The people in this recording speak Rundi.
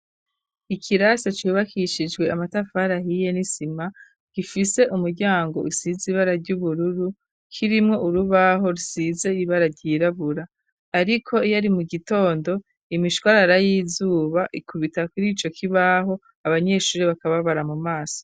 Ikirasa cubakishijwe amatafari ahiye n'isima gifise umuryango usize ibara ryu bururu kirimwo urubaho rusize ibara ryirabura ariko yari mu gitondo imishwarara y'izuba ikubita kuri ico kibaho abanyeshuri bakababara mu maso.